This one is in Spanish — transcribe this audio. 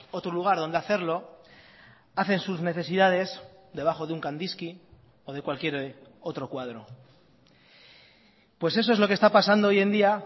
otro lugar donde hacerlo hacen sus necesidades debajo de un kandisky o de cualquier otro cuadro pues eso es lo que está pasando hoy en día